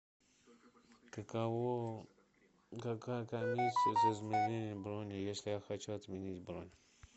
каково какая комиссия за изменение брони если я хочу отменить бронь